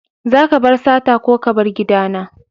Zaka bar sata ko ka bar gida na!